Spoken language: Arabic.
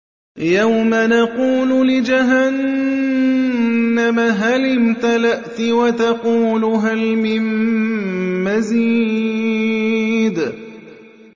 يَوْمَ نَقُولُ لِجَهَنَّمَ هَلِ امْتَلَأْتِ وَتَقُولُ هَلْ مِن مَّزِيدٍ